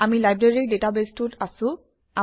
আমি লাইব্ৰেৰী ডাটাবেছটোত আছোঁ